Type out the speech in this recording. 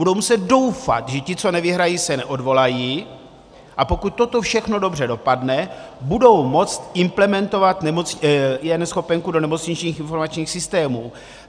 Budou muset doufat, že ti, co nevyhrají, se neodvolají, a pokud toto všechno dobře dopadne, budou moct implementovat eNeschopenku do nemocničních informačních systémů.